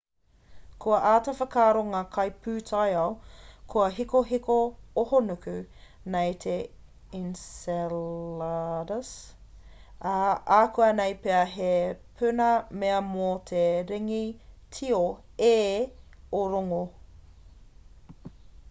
kua āta whakaaro ngā kaipūtaiao kua hikohiko ahonuku nei te enceladus ā akuanei pea he puna pea mō te ringi tio e o rongo